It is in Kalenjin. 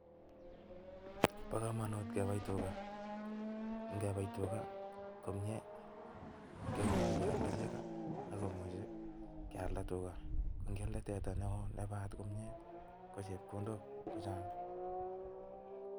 Bo kamanut kepai tuga, ngepai tuga komyee kemuchi kealda chego ako muchi kealda tuga. Ngialde teta neo ne paat komnye ko chepkondok chechang.